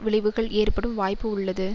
விளைவுகள் ஏற்படும் வாய்ப்பு உள்ளது